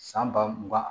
San ba mugan